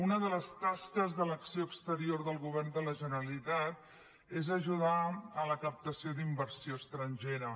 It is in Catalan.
una de les tasques de l’acció exterior del govern de la generalitat és ajudar en la captació d’inversió estrangera